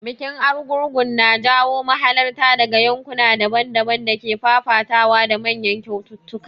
Bikin Argungu na jawo mahalarta daga yankuna daban-daban da ke fafatawa da manyan kyaututtuka.